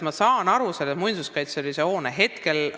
Ma saan aru selle hoone muinsuskaitselisest tähendusest.